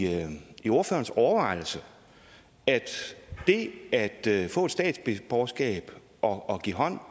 i ordførerens overvejelse at det at at få et statsborgerskab og give hånd